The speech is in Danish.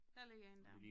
Der ligger en dér